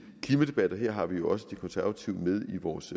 klimadebatter her har vi jo også de konservative med i vores